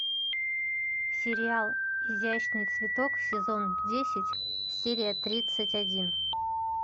сериал изящный цветок сезон десять серия тридцать один